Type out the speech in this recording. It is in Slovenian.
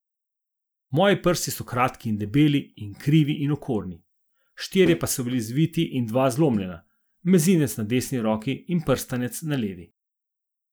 Moji prsti so kratki in debeli in krivi in okorni, štirje so bili zviti in dva zlomljena, mezinec na desni roki in prstanec na levi.